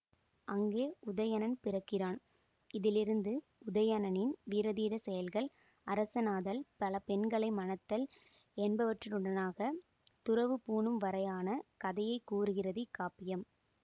அங்கே உதயணன் பிறக்கிறான் இதிலிருந்து உதயணனின் வீரதீர செயல்கள் அரசனாதல் பல பெண்களை மணத்தல் என்பவற்றினூடாகத் துறவு பூணும்வரையான கதையை கூறுகிறது இக்காப்பியம்